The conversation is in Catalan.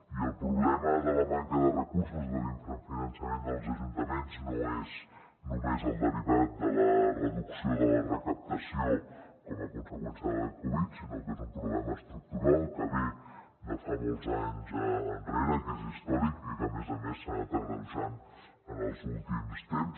i el problema de la manca de recursos de l’infrafinançament dels ajuntaments no és només el derivat de la reducció de la recaptació com a conseqüència de la covid sinó que és un problema estructural que ve de fa molts anys enrere que és històric i que a més a més s’ha anat agreujant en els últims temps